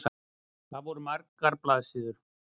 Það voru margar blaðsíður.